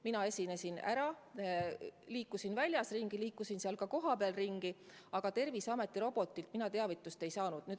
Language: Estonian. Mina esinesin ära, liikusin väljas ringi, liikusin seal ka kohapeal ringi, aga Terviseameti robotilt mina teavitust ei saanud.